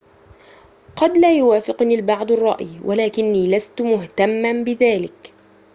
قد لا يوافقني البعض الرأي ولكني لست مهتماً بذلك